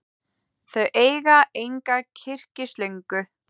Þau eiga enga kyrkislöngu.